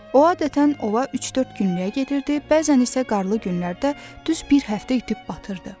O adətən ova üç-dörd günlük gedirdi, bəzən isə qarlı günlərdə düz bir həftə itib batırdı.